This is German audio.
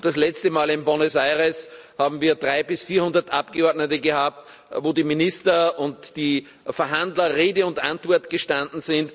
Und das letzte Mal, in Buenos Aires, haben wir 300 bis 400 Abgeordnete gehabt, wo die Minister und die Verhandler Rede und Antwort standen.